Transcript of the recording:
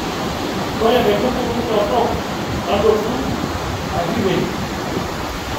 Ore inkaitubulu torok tadotu arashu ipej